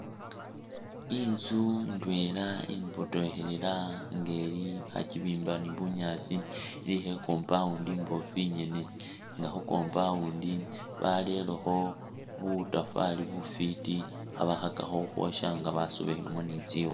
Inzu ndwela imbotokhelela nga ili bakibimba ni bunyaasi, ilikho i'compound imboofu ingene nga khu compound barerekho butafali bufwiti, khabakhakakho ukhwosya nga basobekhilemu ni tsikhu.